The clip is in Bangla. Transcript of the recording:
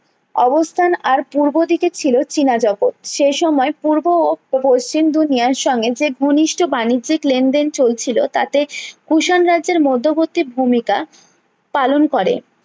অবস্থান আর পূর্ব দিকে ছিল চীনা জগৎ সে সময়ে পূর্ব ও পশ্চিম দুনিয়ায় সঙ্গে সে ঘনিষ্ঠ বাণিজ্যিক লেনদেন চলছিল তাতে কুষাণ রাজ্যের মর্ধ্বর্তী ভূমিকা পালন করেন